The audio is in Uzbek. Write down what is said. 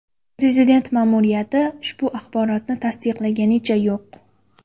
Prezident ma’muriyati ushbu axborotni tasdiqlaganicha yo‘q.